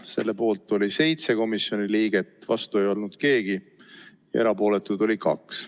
Selle poolt oli 7 komisjoni liiget, vastu ei olnud keegi, erapooletuid oli 2.